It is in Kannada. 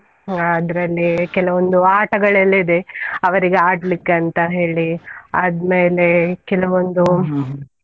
ಹಾ ಅದ್ರಲ್ಲಿ ಕೆಲವೊಂದು ಆಟಗಳು ಇದೆ ಅವರಿಗೆ ಆಡ್ಲಿಕ್ಕೆ ಅಂತ ಹೇಳಿ, ಆದ್ಮೇಲೆ ಕೆಲವೊಂದು .